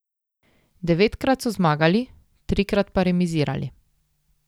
Devetkrat so zmagali, trikrat pa remizirali.